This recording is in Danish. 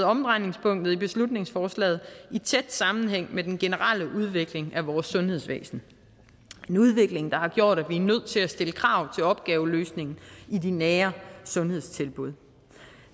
omdrejningspunktet i beslutningsforslaget i tæt sammenhæng med den generelle udvikling af vores sundhedsvæsen en udvikling der har gjort at vi er nødt til at stille krav til opgaveløsningen i de nære sundhedstilbud